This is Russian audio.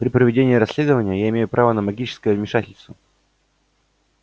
при проведении расследования я имею право на магическое вмешательство